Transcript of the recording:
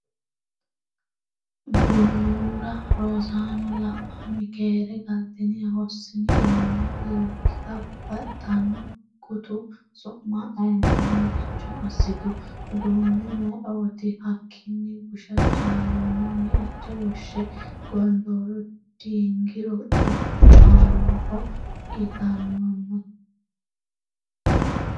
Bu’nuura Rosaano la’ini? “Keere galtini? hossini?” yinanni. Loggita baxxano? Gutu su’ma ayeeti? Maricho assitu? uduunne ayeeooti? Hakkiinni Busha Jaalooma meicho woshshe,”Gondooro diingiro cubbu annaho iillannoni?”